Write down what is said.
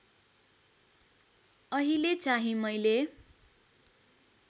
अहिले चाहिँ मैले